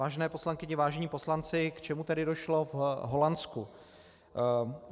Vážené poslankyně, vážení poslanci, k čemu tedy došlo v Holandsku?